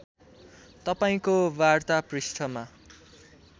तपाईँको वार्ता पृष्ठमा